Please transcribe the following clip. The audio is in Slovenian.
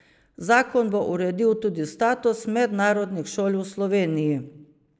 Zakon bo uredil tudi status mednarodnih šol v Sloveniji.